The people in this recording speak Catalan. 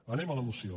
anem a la moció